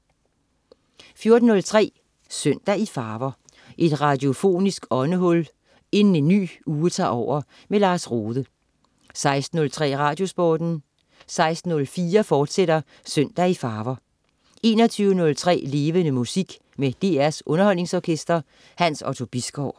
14.03 Søndag i farver. Et radiofonisk åndehul inden en ny uge tager over. Lars Rohde 16.03 Radiosporten 16.04 Søndag i farver, fortsat 21.03 Levende Musik med DR Underholdningsorkestret. Hans Otto Bisgaard